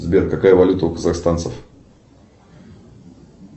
сбер какая валюта у казахстанцев